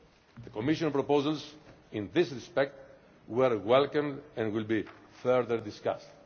The Commission proposals in this respect were welcome and will be further discussed.